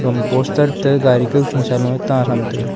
hom poster ta gari kau kheecha loe taan ham taiga.